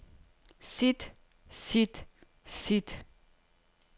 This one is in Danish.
sit sit sit